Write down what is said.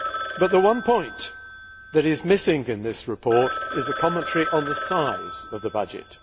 But the one point that is missing in this report is a commentary on the size of the budget.